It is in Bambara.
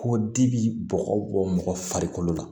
Ko di bi bɔgɔ bɔ mɔgɔ farikolo la